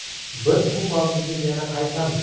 Biz bu mavzuga yana qaytamiz!